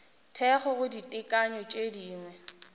thekgo go ditekanyo tše dingwe